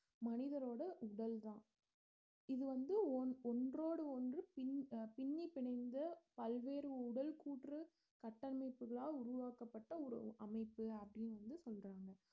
மனிதரோட உடல்தான் இது வந்து ஒன்~ ஒன்றோடு ஒன்று பின்~ பின்னி பிணைந்து பல்வேறு உடல் கூற்று கட்டமைப்புகளால் உருவாக்கப்பட்ட ஒரு அமைப்பு அப்படின்னு வந்து சொல்றாங்க